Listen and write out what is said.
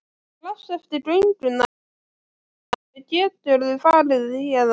Strax eftir gönguna í fjörunni geturðu farið héðan.